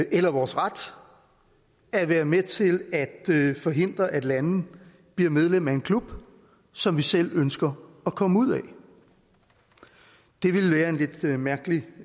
eller vores ret at være med til at forhindre at lande bliver medlem af en klub som vi selv ønsker at komme ud af det ville være en lidt mærkelig